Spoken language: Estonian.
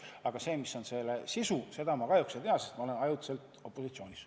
Aga mis on selle sisu, seda ma kahjuks ei tea, sest olen ajutiselt opositsioonis.